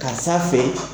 Karisa fɛ